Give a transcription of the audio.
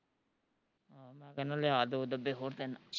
ਮੈਂ ਕਹਨਾਂ ਲਿਆ ਦੋ ਡੱਬੇ ਹੋਰ ਤਿੰਨ